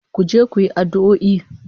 Ku je ku yi addu'o'i